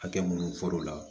Hakɛ minnu fɔr'u la